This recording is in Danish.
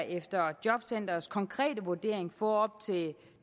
efter jobcenterets konkrete vurdering få til